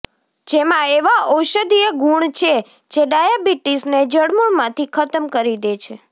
જેમા એવા ઔષધીય ગુણ છે જે ડાયાબિટીસને જડમૂળથી ખતમ કરી દે છે